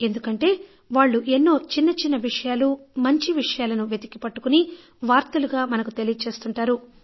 ఎందుకంటే వాళ్ళు ఎన్నో చిన్న చిన్న విషయాలు మంచి విషయాలను వెతికి పట్టుకొని వార్తలుగా మనకి తెలియజేస్తుంటారు